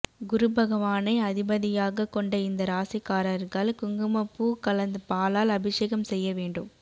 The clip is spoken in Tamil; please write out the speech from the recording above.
குருபகவானை அதிபதியாக கொண்ட இந்த ராசிக்காரர்கள் குங்குமப்பூ கலந்த பாலால் அபிஷேகம் செய்ய வேண்டும்